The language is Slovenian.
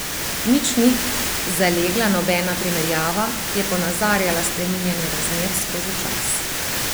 Nič ni zalegla nobena primerjava, ki je ponazarjala spreminjanje razmer skozi čas.